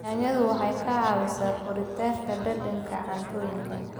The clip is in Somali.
Yaanyadu waxay ka caawisaa kordhinta dhadhanka cuntooyinka.